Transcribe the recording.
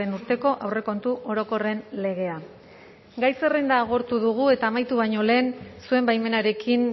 urteko aurrekontu orokorren legea gai zerrenda agortu dugu eta amaitu baino lehen zuen baimenarekin